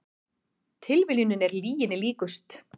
Tilviljunin er lyginni líkust